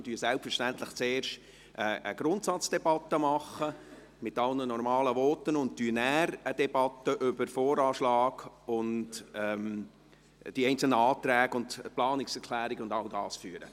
Wir führen selbstverständlich zuerst eine Grundsatzdebatte mit allen normalen Voten, und anschliessend führen wir eine Debatte über den VA sowie die einzelnen Anträge und Planungserklärungen und diese Dinge.